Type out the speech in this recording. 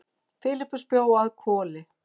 Filippus bjó að Hvoli.